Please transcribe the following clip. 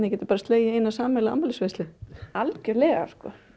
getið bara slegið í eina sameiginlega afmælisveislu algjörlega